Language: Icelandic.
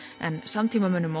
en samtímamönnum